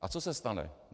A co se stane?